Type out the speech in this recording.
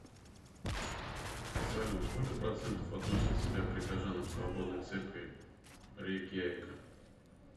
салют сколько процентов относят себя к прихожанам свободной церкви рейкьявика